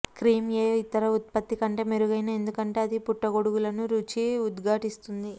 cream ఏ ఇతర ఉత్పత్తి కంటే మెరుగైన ఎందుకంటే అది పుట్టగొడుగులను రుచి ఉద్ఘాటిస్తుంది